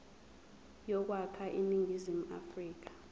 yokwakha iningizimu afrika